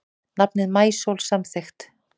Nafnið Maísól samþykkt